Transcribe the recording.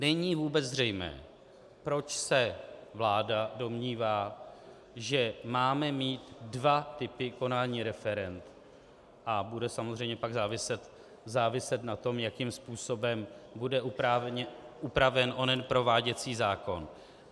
Není vůbec zřejmé, proč se vláda domnívá, že máme mít dva typy konání referend, a bude samozřejmě pak záviset na tom, jakým způsobem bude upraven onen prováděcí zákon.